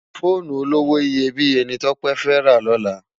Fónú ólówó iyébiyé ni Tope fè rá lòlá